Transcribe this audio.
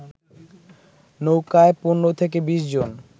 নৌকায় ১৫ থেকে ২০ জন